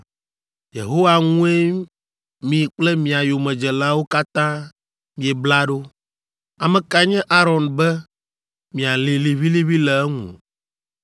Yehowa ŋue mi kple mia yomedzelawo katã miebla ɖo. Ame kae nye Aron be mialĩ liʋĩliʋĩ le eŋu?”